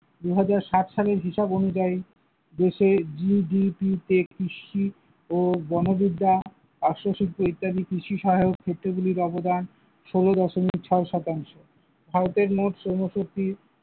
দুই হাজার সাত সালের হিসাব অনুযায়ী দেশের GDP তে কৃষি ও বনবিদ্যা ও আরসসিদ্ধি ইত্যাদি কৃষি সহায়ক ইত্যাদির ক্ষেত্র গুলির অবদান ষোল দশমিক ছয় শতাংশ, ভারতে মোট ষোলশোটি।